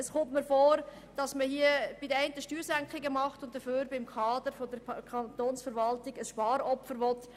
Es kommt mir so vor, als würde man den einen Steuergeschenke machen und gleichzeitig vom Kader der Kantonsverwaltung ein Sparopfer verlangen.